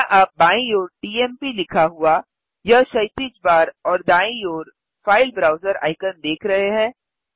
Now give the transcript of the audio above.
क्या आप बाईं ओर टीएमपी लिखा हुआ यह क्षैतिज बार और दाईँ ओर फाइल ब्राउजर आइकन देख रहे हैं